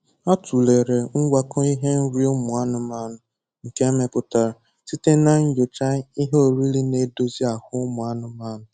Ha tulere ngwakọ ihe nrị ụmụ anụmanụ nke emepụtara site na nyocha ihe oriri na-edozi ahụ ụmụanụmanụ